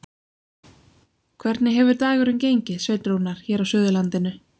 Hvernig hefur dagurinn gengið, Sveinn Rúnar, hér á Suðurlandinu?